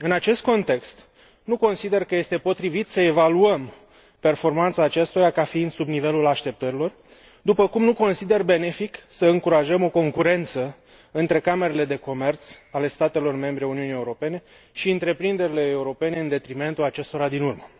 În acest context, nu consider că este potrivit să evaluăm performanța acestora ca fiind sub nivelul așteptărilor, după cum nu consider benefic să încurajăm o concurență între camerele de comerț ale statelor membre ale Uniunii Europene și întreprinderile europene, în detrimentul acestora din urmă.